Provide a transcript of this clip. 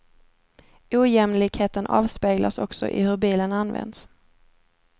Ojämlikheten avspeglas också i hur bilen används.